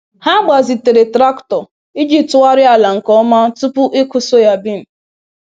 Ha gbazitere traktọ iji tụgharịa ala nke ọma tupu ịkụ soyabean